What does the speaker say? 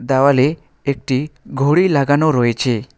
দেওয়ালে একটি ঘড়ি লাগানো রয়েছে।